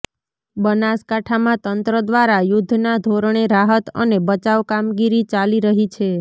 બનાસકાંઠામાં તંત્ર દ્વારા યુદ્ધના ધોરણે રાહત અને બચાવ કામગીરી ચાલી રહી છે